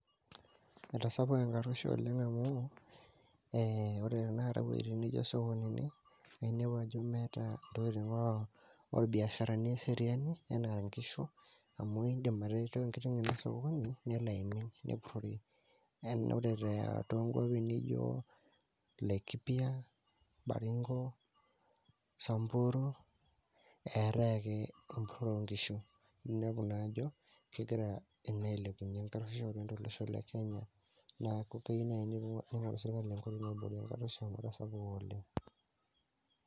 Etasapuka enkaruoisho oleng' amu ee ore tanakata iweujitin nijio isokonini naa ainepu ajo meeta intokitin orbiasharani eseriani enaa inkishu amu aindim aterewa enkiteng' ino osokoni nelo aimin, nepurrori naa ore toonkuapi nijio Laikipia, Baringo, Samburu eetae ake empurrore oonkishu, ninepu naa ajo kegira ina ailepuny'ie enkarruoishu oleng' to olosho le Kenya. Neeku keyieu naaji neing'oruni enkoitoi naiboorieki enkarruoisho amu etasapuka oleng'.